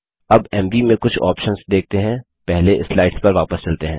अब M V कुछ options देखते हैं पहले स्लाइड्स पर वापस चलते हैं